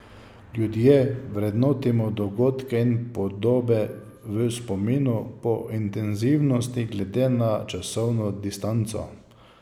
Ljudje vrednotimo dogodke in podobe v spominu po intenzivnosti glede na časovno distanco.